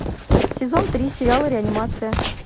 сезон три сериала реанимация